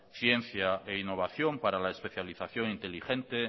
ciencia e innovación para la especialización inteligente